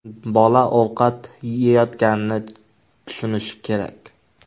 Bola ovqat yeyotganini tushunishi kerak.